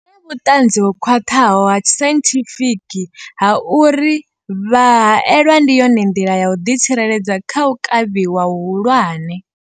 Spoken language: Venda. vhuṱanzi ho khwaṱhaho ha sainthifiki ha uri vha haelwa ndi yone nḓila ya u ḓitsireledza kha u kavhiwa hu hulwane.